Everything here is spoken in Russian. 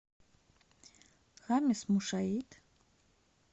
хамис мушаит